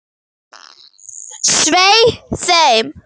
Svei þeim!